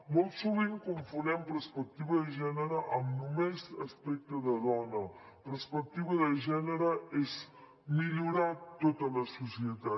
molt sovint confonem perspectiva de gènere amb només aspecte de dona perspectiva de gènere és millorar tota la societat